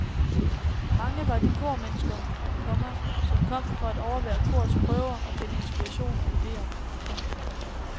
Mange var de kormennesker, komma som kom for at overvære korets prøver og finde inspiration og idéer. punktum